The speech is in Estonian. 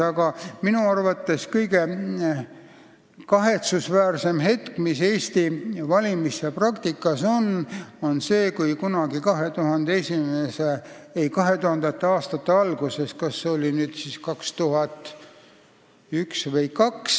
Aga minu arvates oli kõige kahetsusväärsem hetk Eesti valimispraktikas enne 2002. aasta kohalike omavalitsuste valimisi.